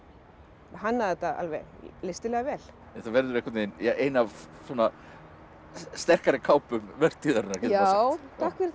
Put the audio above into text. hannaði þetta alveg listilega vel þetta verður ja ein af svona sterkari kápum vertíðarinnar já takk fyrir það